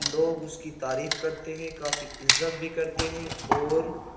लोग उसकी तारीफ करते हैं काफी इज्जत भी करते हैं और --